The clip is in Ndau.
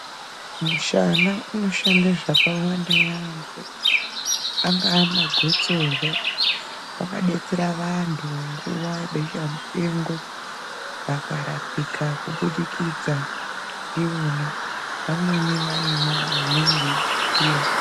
Mushana unoshanda zvakawanda yaambo angaa magotsorwa wakadetsera vantu nguwa yebesha mupengo vakarapika kubudikidza ndiwona vamweni vaimwa vamweni veifukira.